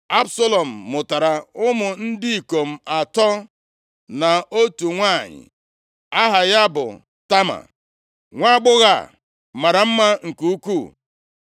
Absalọm mụtara ụmụ ndị ikom atọ, na otu nwanyị, aha ya bụ Tama. Nwaagbọghọ a mara mma nke ukwuu.